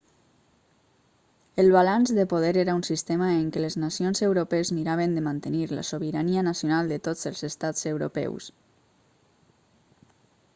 el balanç de poder era un sistema en què les nacions europees miraven de mantenir la sobirania nacional de tots els estats europeus